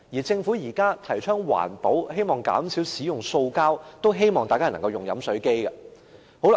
政府現時提倡環保，希望減少使用塑膠瓶，所以希望市民能夠使用飲水機。